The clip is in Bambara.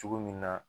Cogo min na